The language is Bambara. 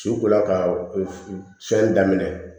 Ciw ko la ka u fɛn daminɛ